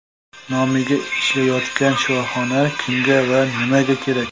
Nomiga ishlayotgan shifoxona kimga va nimaga kerak?.